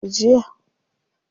Waye ya rasu jiya?